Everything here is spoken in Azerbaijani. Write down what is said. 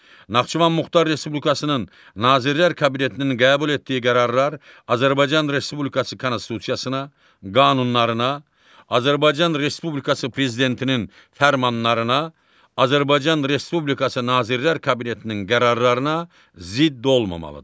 Naxçıvan Muxtar Respublikasının Nazirlər Kabinetinin qəbul etdiyi qərarlar Azərbaycan Respublikası Konstitusiyasına, qanunlarına, Azərbaycan Respublikası Prezidentinin fərmanlarına, Azərbaycan Respublikası Nazirlər Kabinetinin qərarlarına zidd olmamalıdır.